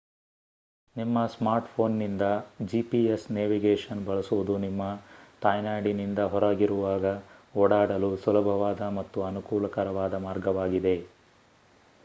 ನಿಮ್ಮ ಸ್ಮಾರ್ಟ್ ಫೋನ್ನಿಂದ GPS navigation ಬಳಸುವುದು ನಿಮ್ಮ ತಾಯ್ನಾಡಿನಿಂದ ಹೊರಗಿರುವಾಗ ಓಡಾಡಲು ಸುಲಭವಾದ ಮತ್ತು ಅನುಕೂಲಕರವಾದ ಮಾರ್ಗವಾಗಿದೆ